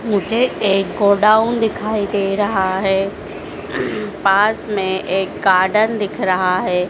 मुझे एक गोडाउन दिखाई दे रहा है पास में एक गार्डन दिख रहा है।